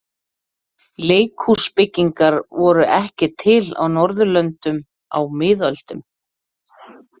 Leikhúsbyggingar voru ekki til á Norðurlöndum á miðöldum.